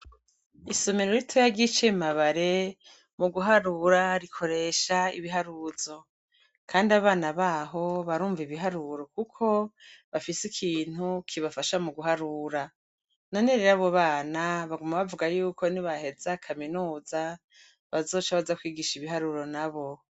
Isomero ritoya ryi Cimabare, mu guharura rikoresha ibiharuzo , kandi abana b'aho barumva ibiharuro kuko bafise ikintu kibafasha muguharura. None rero, abo bana baguma bavuga y'uko ni baheza kaminuza bazoca baja kwigisha ibiharuro n'abo.